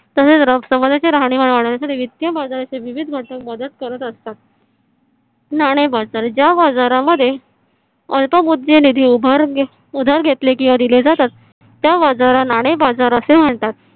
चे राहणीमान वाढविण्यासाठी वित्तीय बाजाराचे विविध घटक मदत करत असतात. नाणे बाजार ज्या बाजारामध्ये अल्प निधी उभार उधार घेतले किंवा दिले जातात. त्या बाजाराला नाणे बाजार असे म्हणतात.